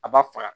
A b'a faga